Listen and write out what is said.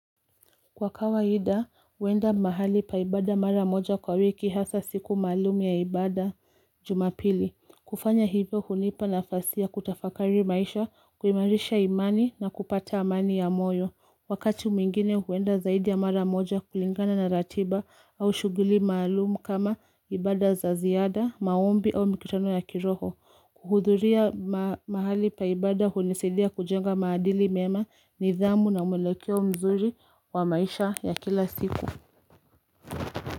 Kwa kawa hida, huenda mahali paibada mara moja kwa wiki hasa siku malumu ya ibada jumapili. Kufanya hivyo hunipa na fasia kutafakari maisha, kuimarisha imani na kupata amani ya moyo. Wakati mwingine huenda zaidi ya mara moja kulingana na ratiba au shuguli malumu kama ibada za ziada, maombi au mikitano ya kiroho. Kuhudhuria mahali paibada hunesidia kujenga maadili mema ni dhamu na umelekio mzuri wa maisha ya kila siku.